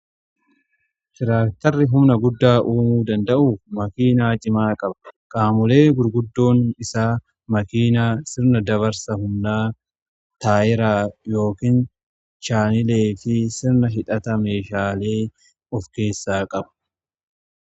Tiraaktarri humna guddaa uumuu danda'uuf makiinaa cimaa qaba. Qaamolee gurguddoon isaa makiinaa sirna dabarsa humnaa taayiraa yookiin chaanilee fi sirna hidhata meeshaalee of keessaa qabu.